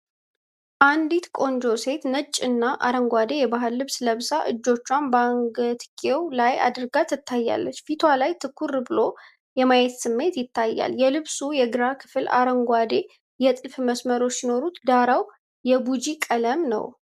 አንዲት ቆንጆ ሴት ነጭ እና አረንጓዴ የባህል ልብስ ለብሳ፣ እጆቿን በአንገትጌው ላይ አድርጋ ትታያለች። ፊቷ ላይ ትኩር ብሎ የማየት ስሜት ይታያል። የልብሱ የግራ ክፍል አረንጓዴ የጥልፍ መስመሮች ሲኖሩት፣ ዳራው የቢጂ ቀለም ነው።